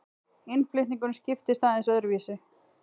Innflutningurinn skiptist aðeins öðruvísi.